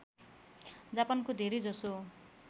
जापानको धेरै जसो